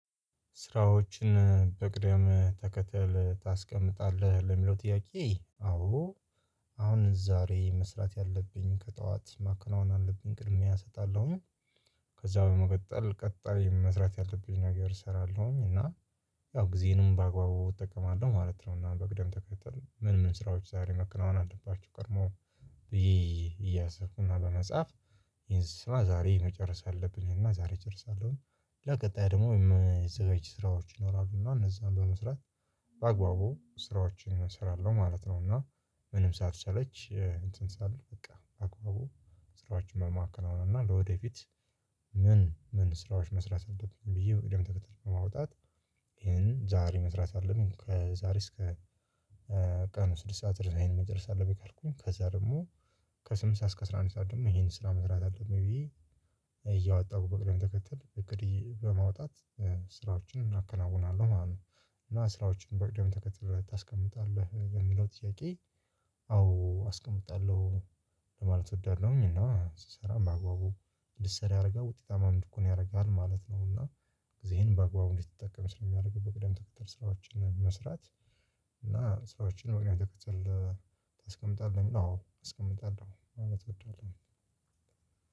ስራዎችን በቅደም ተከተል ታስቀምጣለህ ለሚለው ጥያቄ አዎ አሁን ዛሬ መስራት ያለብኝ ከጠዋት ማከናወን አለብኝ ቅድሚያ እሰጣለሁ። ከዛ በመቀጠል ቀጣይ መስራት ያለብኝ ነገር እሰራለሁኝ እና ያው ጊዜንም በአግባቡ እጠቀማለሁ ማለት ነው። እና በቅደም ተከተል ምን ምን ስራዎች ዛሬ መከናወን አለባቸው ቀድሞ እያሰብኩ እና በመጻፍ ይሄን ስራ ዛሬ መጨረስ አለብኝ እና ዛሬ እጨርሳለሁ። ለቀጣይ ደግሞ የምስጋጁ ስራዎች ይኖራሉ እና እነዛን በመስራት በአግባቡ ስራዎችን እሰራለሁ ማለት ነው። እና ምንም ሳትችለች እንትን ሳልል በቃ በአግባቡ ስራዎችን መማከ አሁን እና ለወደፊት ምን ምን ስራዎች መስራት አለብኝ ብዬ በቅደም ተከተል በማውጣት ይሄን ዛሬ መስራት አለብኝ። ከዛሬ እስከ ቀን ስድስት ሰዓት ደርሰናል መጨረስ አለብኝ ካልኩኝ ከዛ ደግሞ ከስምንት ሰዓት እስከ አስራ አንድ ሰዓት ደግሞ ይሄን ስራ መስራት አለብኝ ብዬ እያወጣሁ በቅደም ተከተል እቅድ ይዤ በማውጣት ስራዎችን እናከናውናለሁ ማለት ነው። እና ስራዎችን በቅድም ተከትልህ ታስቀምጣለህ ለየሚለው ጥያቄ? አዎ አስቀምጣለሁ ለማለት እወዳለሁኝ እና ስሰራ በአግባቡ እንድሰራ ያረጋል ውጤታማም እንድኮን ያረጋል ማለት ነው። እና ጊዜህን በአግባቡ እንዲትጠቀም ስለሚያደርገው በቅደም ተከተል ስራዎችን መስራት። እና ስራዎችን በቅደምተከትለህ ታስቀምጣለህ ለሚለው አዎ አስቀምጣለሁ ማለት እወዳለሁኝ።